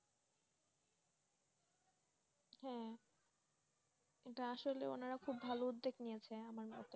হ্যাঁ, এটা আসলে অনারা খুব ভালো উদ্যোগ নিয়েছেন।